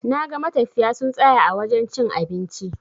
Naga matafiya sun tsaya a wajen cin abinci.